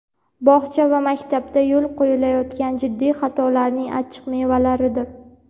bog‘cha va maktabda yo‘l qo‘yilayotgan jiddiy xatolarning achchiq mevalaridir.